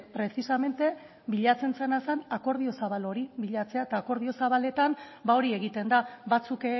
precisamente bilatzen zena zen akordio zabal hori bilatzea eta akordio zabaletan hori egiten da batzuk